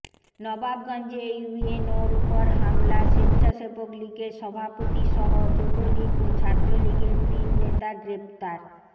নবাবগঞ্জে ইউএনওর ওপর হামলা স্বেচ্ছাসেবক লীগের সভাপতিসহ যুবলীগ ও ছাত্রলীগের তিন নেতা গ্রেপ্তার